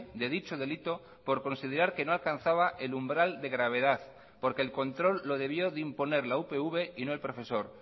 de dicho delito por considerar que no alcanzaba el umbral de gravedad porque el control lo debió de imponer la upv y no el profesor